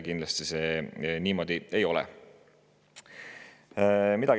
Kindlasti see niimoodi ei ole.